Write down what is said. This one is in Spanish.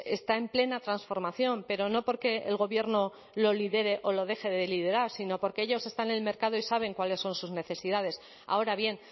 está en plena transformación pero no porque el gobierno lo lidere o lo deje de liderar sino porque ellos están en el mercado y saben cuáles son sus necesidades ahora bien